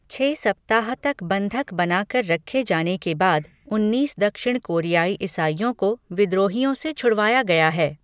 छह सप्ताह तक बंधक बना कर रखे जाने के बाद उन्नीस दक्षिण कोरियाई ईसाइयों को विद्रोहियों से छुड़वाया गया है।